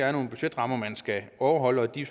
er nogle budgetrammer man skal overholde og at de